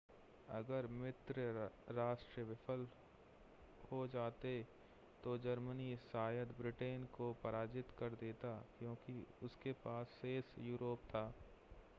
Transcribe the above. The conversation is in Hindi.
अगर मित्र राष्ट्र विफल हो जाते तो जर्मनी शायद ब्रिटेन को पराजित कर देता क्योंकि उसके पास शेष यूरोप था